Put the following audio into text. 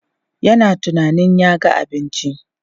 Yana tunanin ya ga abinci.